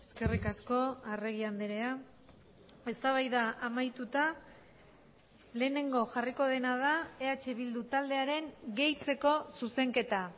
eskerrik asko arregi andrea eztabaida amaituta lehenengo jarriko dena da eh bildu taldearen gehitzeko zuzenketa